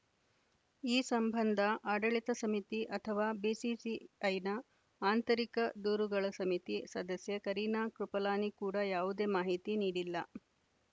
ಈ ಸಂಬಂಧ ಆಡಳಿತ ಸಮಿತಿ ಅಥವಾ ಬಿಸಿಸಿಐನ ಆಂತರಿಕ ದೂರುಗಳ ಸಮಿತಿ ಸದಸ್ಯೆ ಕರಿನಾ ಕೃಪಲಾನಿ ಕೂಡ ಯಾವುದೇ ಮಾಹಿತಿ ನೀಡಿಲ್ಲ